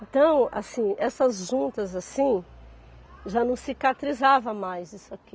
Então, assim, essas juntas assim, já não cicatrizava mais isso aqui.